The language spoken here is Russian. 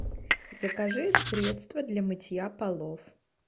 закажи средство для мытья полов